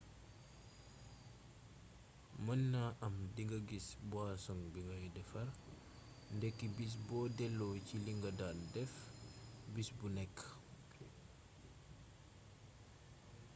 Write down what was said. mën na am dinga gis buwasoŋ bi ngay defare ndekki bis boo delloo ci li nga daan def bis bu nekk